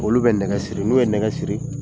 Olu bɛ nɛgɛ siri n'u ye nɛgɛ siri